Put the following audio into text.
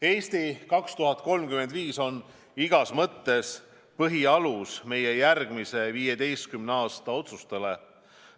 "Eesti 2035" on igas mõttes põhialus meie järgmise 15 aasta otsustele.